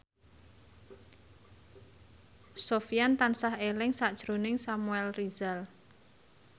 Sofyan tansah eling sakjroning Samuel Rizal